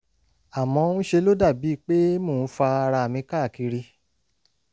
àmọ́ ń ṣe ló dàbí pé mò ń fa ara mi káàkiri